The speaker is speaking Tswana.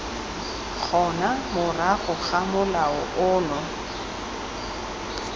gona morago ga molao ono